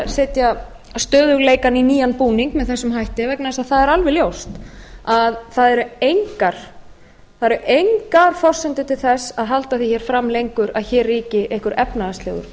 setja stöðugleikann í nýjan búning með þessum hætti vegna þess að það er alveg ljóst að það eru engar forsendur til þess að halda því hér fram lengur að hér ríki einhver efnahagslegur